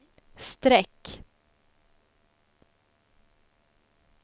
streck